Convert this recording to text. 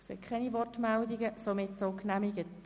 – Das scheint so in Ordnung zu sein.